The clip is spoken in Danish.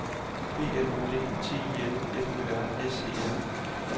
B L O D T I L F Ø R S E L